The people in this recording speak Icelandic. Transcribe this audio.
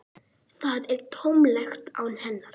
Það er tómlegt án hennar.